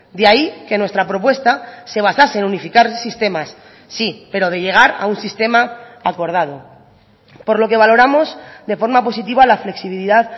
de ahí que nuestra propuesta se basase en unificar sistemas sí pero de llegar a un sistema acordado por lo que valoramos de forma positiva la flexibilidad